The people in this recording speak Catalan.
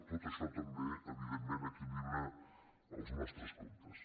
tot ai·xò també evidentment equilibra els nostres comptes